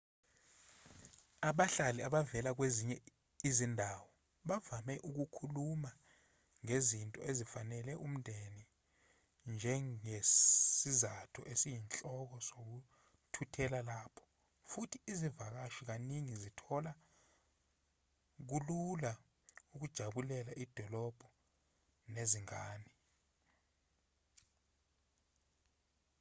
abahlali abavela kwezinye izindawo bavame ukukhuluma ngezinto ezifanele umndeni njengesizathu esiyinhloko sokuthuthela lapho futhi izivakashi kaningi zithola kulula ukujabulela idolobha nezingane